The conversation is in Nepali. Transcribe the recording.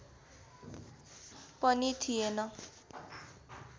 पनि थिएन